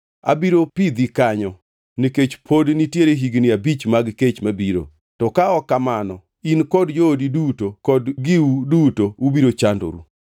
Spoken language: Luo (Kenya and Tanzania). Abiro pidhi kanyo, nikech pod nitiere higni abich mag kech mabiro. To ka ok kamano, in kod joodi duto kod giwu duto ubiro chanduru.’